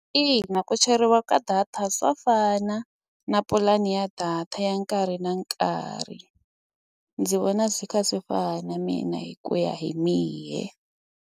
Ina ku cheriwa ka data swa fana na pulani ya data ya nkarhi na nkarhi ndzi vona swi kha swi fana mina hi ku ya hi mehe.